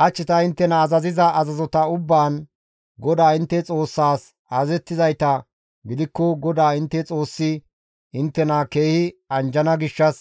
Hach ta inttena azaziza azazota ubbaan GODAA intte Xoossaas intte azazettizayta gidikko GODAA intte Xoossi inttena keehi anjjana gishshas